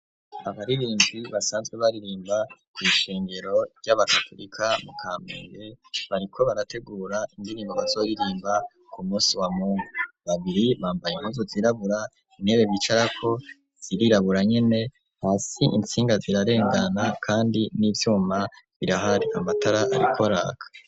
abaririnbi basanzwe baririmba ku ishengero ry'abakaturika mu kamenge bariko barategura indirimbo bazoririmba ku musi wa mungu babiri bambaye muzu zirabura intebe bicarako ziriraburanye ne hasi insinga zirarengana kandi n'ibyuma birahari amatara arikoraka